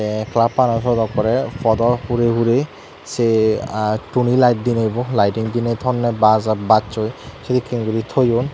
te flupano siot ekkore podo hure hure se aa tuni layet dinw bo liting dine tonney bajo baccoi sedekken guri toyon.